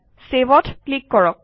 save অত click কৰক